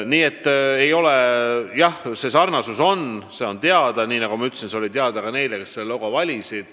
Nii et jah, see sarnasus on, ja nagu ma ütlesin, see oli teada ka neile, kes selle logo valisid.